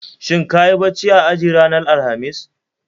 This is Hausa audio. Shin kayi bacci a aji ranar Alhamis?